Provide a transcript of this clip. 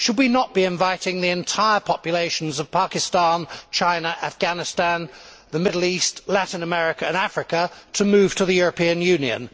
Should we not be inviting the entire populations of Pakistan, China, Afghanistan, the Middle East, Latin America and Africa to move to the European Union?